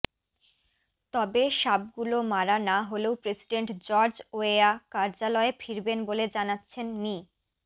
তবে সাপগুলো মারা না হলেও প্রেসিডেন্ট জর্জ ওয়েয়া কার্যালয়ে ফিরবেন বলে জানাচ্ছেন মি